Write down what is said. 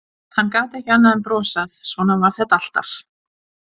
Hann gat ekki annað en brosað, svona var þetta alltaf.